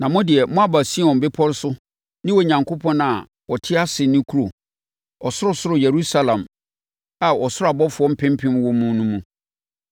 Na mo deɛ moaba Sion Bepɔ so ne Onyankopɔn a ɔte ase no kuro, ɔsorosoro Yerusalem a ɔsoro abɔfoɔ mpempem wɔ mu no mu.